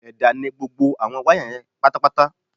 Ẹ̀dá ni gbogbo àwọn wáyà yẹn pátápátá